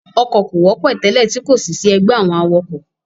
Ọkọ̀ kò wọ́pọ̀ tẹ́lẹ̀ tí kòsì sí ẹgbẹ́ àwọn awakọ̀.